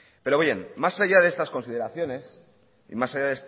pero bien más allá de estas consideraciones y más allá